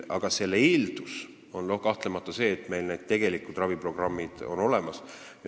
Aga eeldus on kahtlemata see, et need raviprogrammid on olemas.